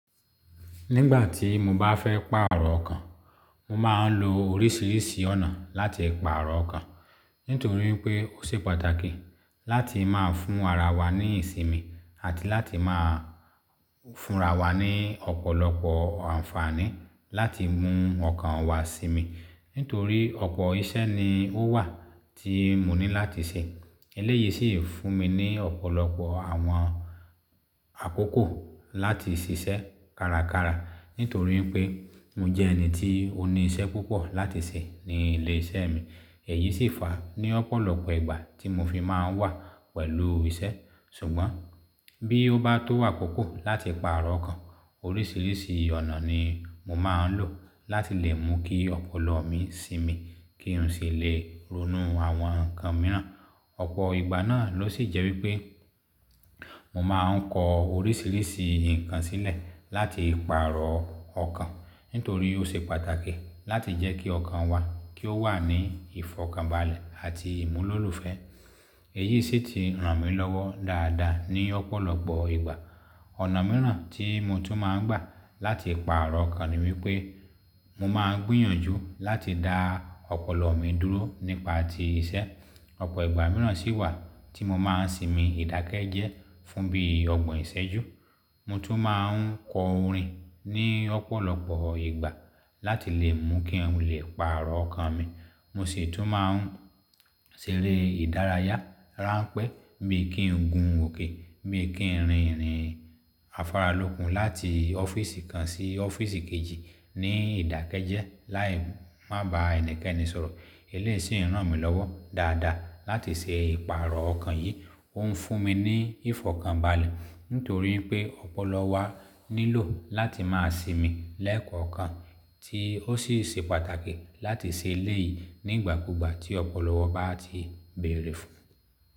Nígbà tí mo bá fẹ́ pàrọ̀ ọkan, mo máa ń lo oríṣiríṣi ọ̀nà láti pàrọ̀ ọkan. Nítorí pé ó ṣe pàtàkì láti máa fún ara wa ní ìsinmi àti láti máa fúnra wa ní ọ̀pọ̀lọpọ̀ àǹfààní láti mú ọkàn wa sími. Nítorí ọ̀pọ̀ iṣẹ́ ni ó wà tí mo ní láti ṣe. Eléyìí sì ń fún mi ní ọ̀pọ̀lọpọ̀ àwọn àkókò láti ṣiṣẹ́ kárakára. Nítorí pé mo jẹ́ ẹni tí ó ní iṣẹ́ púpọ̀ láti ṣe ní ilé iṣẹ́ mi. Èyí sì ń fà á ní ọ̀pọ̀lọpọ̀ ìgbà tí mo fi máa ń wà pẹ̀lú iṣẹ́. Ṣùgbọ́n bí ó bá tó àkókó láti pàrọ̀ ọkan, oríṣiríṣi ọ̀nà ni mo máa ń lò láti lè mú kí ọpọlọ mi sinmi kí n sì lè ronú àwọn nǹkan mìíràn. Ọ̀pọ̀ ìgbà náà ló sì jẹ́ wípé mo máa ń kọ oríṣiríṣi nǹkan sílẹ̀ láti pàrọ̀ ọkàn. Nítorí ó ṣe pàtàkì láti jẹ́ kí ọkàn wa kí ó wà ní ìfọ̀kànbalẹ̀ àti ìmúlòlùfẹ́. Èyí sì ti ràn mí lọ́wọ́ dáadáa ní ọ̀pọ̀lọpọ̀ ìgbà. Ọ̀nà mìíràn tí mo tún máa ń gbà láti pàrọ̀ ọkàn ni wípé mo máa ń gbìyànjú láti dá ọpọlọ mi dúró nípa ti iṣẹ́. Ọ̀pọ̀ ìgbà mìíràn sì wà tí mo máa ń sinmi ìdákẹ́jẹ́ fún bí ọgbọ̀n ìṣẹ́jú. Mo tún máa ń kọ orin ní ọ̀pọ̀lọpọ̀ ìgbà láti lè mú kí n lè pàrọ̀ ọkọ̀ mi. Mo sì tún máa ń ṣeré ìdárayá, ránpẹ́ bí i kí n gun òkè, bí i kí n rìn-ìrìn afáralókun láti ọ́fíìsì kan sí ọ́fíìsì kejì ní ìdákẹ́jẹ́ láì má ba ẹnikẹ́ni sọ̀rọ̀. Eléyìí sì ń ràn mí lọ́wọ́ dáadáa láti ṣe ìpààrọ̀ ọkàn yìí. Ó ń fún mi ní ìfọ̀kànbalẹ̀ nítorí pé ọpọlọ wa nílò láti máa sinmi lẹ́ẹ̀kọ̀ọ́ kan tí ó sì ṣe pàtàkì láti ṣe eléyìí nígbàkúùgbà tí ọpọlọ wa bá ti bẹ̀rẹ̀ fún-